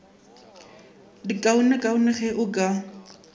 di kaonekaone ge o ka